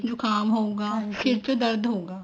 ਜੁਕਾਮ ਹੋਊਗਾ sir ਚ ਦਰਦ ਹੋਊਗਾ